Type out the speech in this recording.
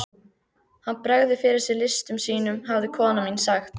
Hann bregður fyrir sig listum sínum hafði kona mín sagt.